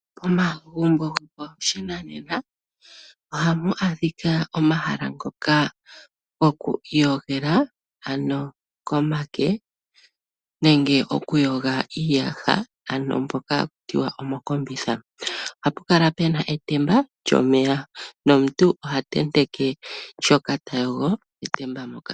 Omagumbo gopashinanena ohamu adhika omahala ngoka gokwiiyogela komake nenge okuyoga iiyaha, ano moka halu tiwa omokombitha . Ohapu kala puna etemba lyomeya nomuntu oha tenteke shoka tayogo metemba moka.